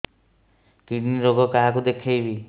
kidney ରୋଗ କାହାକୁ ଦେଖେଇବି